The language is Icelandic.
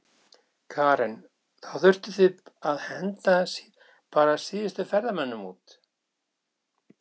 Karen: Þá þurftuð þið að henda bara síðustu ferðamönnunum út?